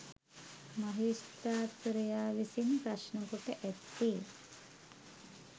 මහේස්ත්‍රාත්වරයා විසින් ප්‍රශ්නකොට ඇත්තේ